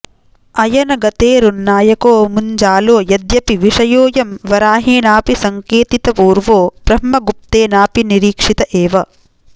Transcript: अयनगतेरुन्नायको मुञ्जालो यद्यपि विषयोऽयं वराहेणापि सङ्केतितपूर्वो ब्रह्मगुप्तेनाऽपि निरीक्षित एव